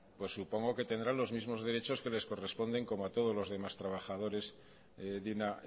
pues supongo que tendrá los mismos derechos que les corresponden como a todos los demás trabajadores de una